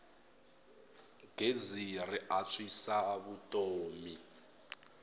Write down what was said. gezi ri antswisa vutomi